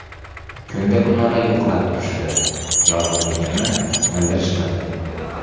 Kunda-kunora yo‘qlab turishadi, yolg‘izligimni bildirishmaydi.